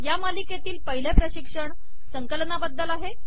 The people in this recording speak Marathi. या मालिकेतील पहिले प्रशिक्षण संकलनाबद्दल आहे